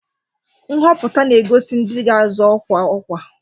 Nhọpụta na-egosi ndị ga-azọ ọkwa ọkwa.